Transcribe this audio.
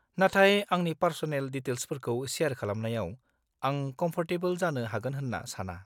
नाथाय आंनि पार्स'नेल डिटेल्सफोरखौ सेयार खालामनायाव आं कम्फ'र्टेबोल जानो हागोन होन्ना साना।